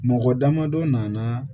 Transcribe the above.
Mɔgɔ damadɔ nana